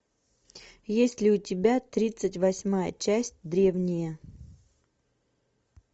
есть ли у тебя тридцать восьмая часть древние